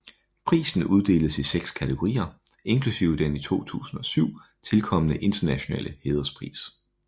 Prisen uddeles i seks kategorier inklusive den i 2007 tilkomne internationale hæderspris